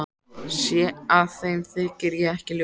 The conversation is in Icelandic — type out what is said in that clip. Sé að þeim þykir ég ekki ljót.